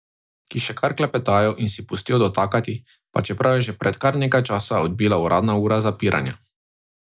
Ki še kar klepetajo in si pustijo dotakati, pa čeprav je že pred kar nekaj časa odbila uradna ura zapiranja.